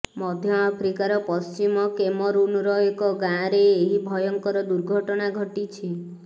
ମଧ୍ୟ ଆଫ୍ରିକାର ପଶ୍ଚିମ କେମରୁନର ଏକ ଗାଁରେ ଏହି ଭୟଙ୍କର ଦୁର୍ଘଟଣା ଘଟିଛି